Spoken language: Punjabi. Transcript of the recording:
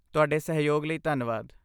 ਤੁਹਾਡੇ ਸਹਿਯੋਗ ਲਈ ਧੰਨਵਾਦ।